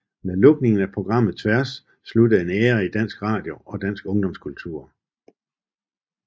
Med lukningen af programmet Tværs sluttede en æra i dansk radio og dansk ungdomskultur